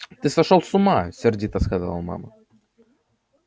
ты сошёл с ума сердито сказала мама